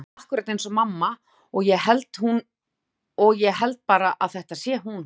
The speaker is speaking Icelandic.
Hún er klædd akkúrat eins og mamma og ég held bara að þetta sé hún.